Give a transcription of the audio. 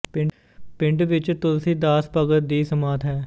ਪਿੰਡ ਵਿੱਚ ਤੁਲਸੀ ਦਾਸ ਭਗਤ ਦੀ ਸਮਾਧ ਹੈ